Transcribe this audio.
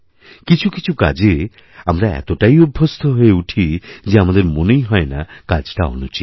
কিছু কিছু কাজে আমরা এতটাই অভ্যস্ত হয়ে উঠি যে আমাদের মনেই হয় না কাজটা অনুচিত